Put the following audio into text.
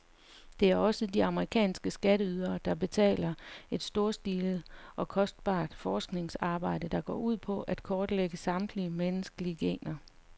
Det er også de amerikanske skatteydere, der betaler et storstilet og kostbart forskningsarbejde, der går ud på at kortlægge samtlige menneskelige gener.